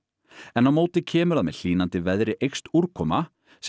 en á móti kemur að með hlýnandi veðri eykst úrkoma sem